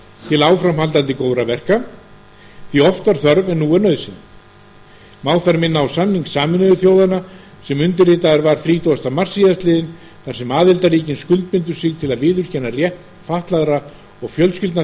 til áframhaldandi góðra verka því oft var þörf en nú er nauðsyn má þar minna á samning sameinuðu þjóðanna sem undirritaður var þrítugasta mars síðastliðinn þar sem aðildarríkin skuldbundu sig til að viðurkenna rétt fatlaðra og fjölskyldna